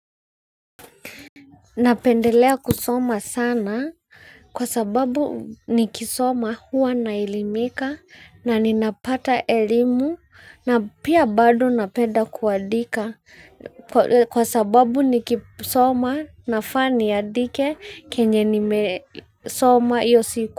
Napendelea kusoma sana kwa sababu nikisoma huwa naelimika na ninapata elimu na pia bado napenda kuandika kwa sababu nikisoma nafaa niandike kenye nimesoma hiyo siku.